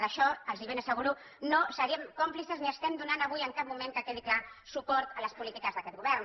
d’això els ho ben asseguro no serem còmplices ni estem donant avui en cap moment que quedi clar suport a les polítiques d’aquest govern